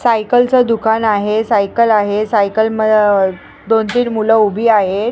सायकलचं दुकान आहे सायकल आहे सायकल म दोन तीन मुलं उभी आहेत.